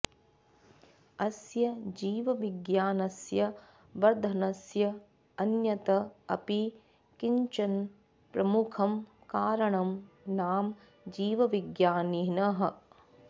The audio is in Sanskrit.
अस्य जीवविज्ञानस्य वर्धनस्य अन्यत् अपि किञ्चन प्रमुखं कारणं नाम जीवविज्ञानिनः